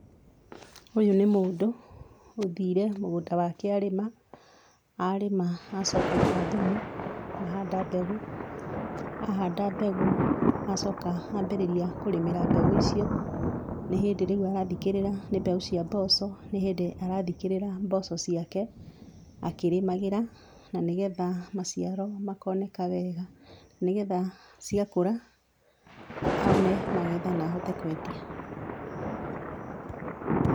Ũyũ nĩ mũndũ ũthiire mũgũnda wake arĩma, arĩma acoka aita thumu, ahanda mbegũ, ahanda mbegũ acoka ambĩrĩria kũrĩmĩra mbegũ icio. Nĩ hĩndĩ rĩu arathikĩrĩra, nĩ mbegũ cia mboco, nĩ hĩndĩ arathikĩrĩra mboco ciake akĩrĩmagĩra na nĩgetha maciaro makoneka wega, nĩgetha ciakũra one magetha na ahote kwendia.